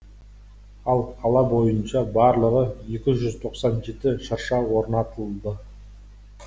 ал қала бойынша барлығы екі жүз тоқсан жеті шырша орнатылды